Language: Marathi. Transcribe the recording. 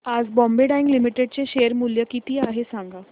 आज बॉम्बे डाईंग लिमिटेड चे शेअर मूल्य किती आहे सांगा